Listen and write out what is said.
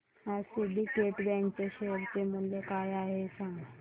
आज Syndicate Bank च्या share चे मूल्य काय आहे हे सांगा